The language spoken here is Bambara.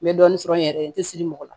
N bɛ dɔɔnin sɔrɔ n yɛrɛ ye n tɛ siri mɔgɔ la